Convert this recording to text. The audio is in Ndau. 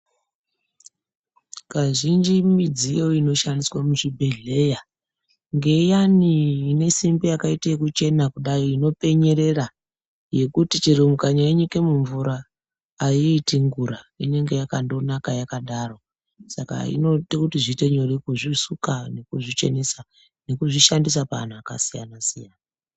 Kazhinji midziyo inoshandiswa muzvibhehleya ngeiyani inesimbi yakaite kuchena kuda inopenyerera yekuti chero mukanyaiyi nyika muvura aiti ngura inenge akandonaka yakadaro saka inoite kuti zviite nyore kuzvisuka nekuzvichenesa nekuzvishandisa paantu akasiyana siyana.